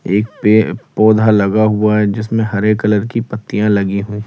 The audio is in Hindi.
एक पे पौधा लगा हुआ है जिसमें हरे कलर की पत्तियां लगी हैं।